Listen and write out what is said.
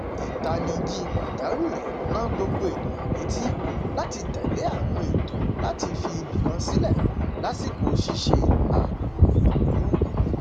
ìtanijí pàjáwìrì rán gbogbo ènìyàn létí láti tẹlé àwọn ètò láti fi ibìkan sílẹ lásìkò ṣíṣe ààbò ìlú